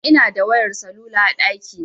Ni Ina da wayar salula a ɗakina